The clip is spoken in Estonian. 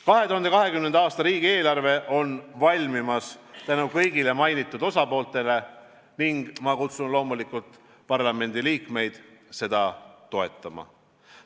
2020. aasta riigieelarve on valmimas tänu kõigile mainitud osapooltele ning ma kutsun üles loomulikult parlamendiliikmeid seda toetama.